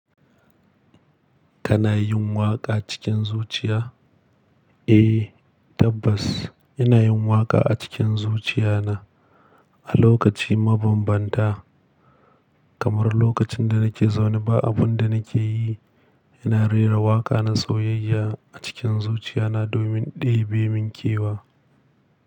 Kana yin waƙa cikin zuciya? Eh, tabbas ina yin waƙa a cikin zuciya na a lokaci mabambanta. Kamar lokacin da nake zaune ba abun da nake yi, ina rera waƙa na soyayya a cikin zuciya na domin ɗebe min kewa.